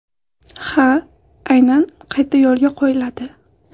Ha, aynan qayta yo‘lga qo‘yiladi.